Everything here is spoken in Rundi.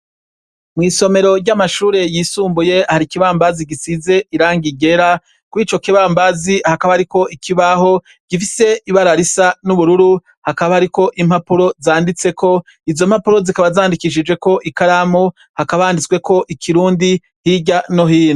Mw'isomero ry'amashure yisumbuye hari ikibambazi gisize irangi ryera, kuri ico kibambazi hakaba hariko ikibaho gifise ibara risa n'ubururu, hakaba hariko impapuro zanditseko, izo mpapuro zikaba zandikishijeko ikaramu, hakaba handitsweko ikirundi hirya no hino.